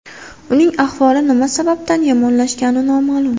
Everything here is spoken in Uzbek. Uning ahvoli nima sababdan yomonlashgani noma’lum.